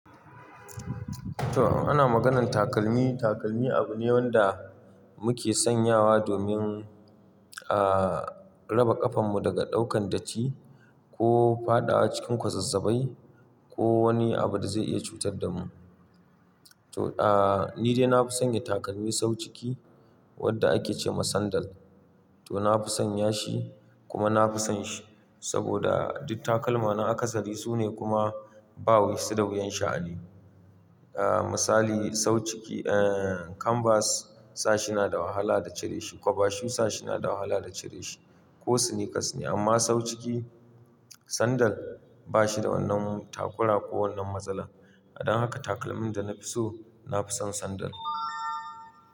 To, ana maganan takalmi, takalmi abu ne wanda muke sanyawa domin, ah, raba ƙafan mu daga ɗaukan datti ko fada a cikin kwazazzabai ko wani abu da zai iya cutar da mu. To, ah, ni dai na fi sanya takalmi sau ciki wadda ake ce ma sandal. To, na fi sanya shi kuma na fi son shi. Saboda duk takalma na aka sari sune kuma ba wi su da wuyan sha'ani. Ah, misali sau ciki, eh, kanvas sa shi na da wahala da cire shi, kwaba shu sa shi na da wahala da cire shi, ko sneakers ne. Amma sau ciki sandal ba shi da wannan takura ko wannan matsala. Don haka takalmin da na fi so, na fi son sandal.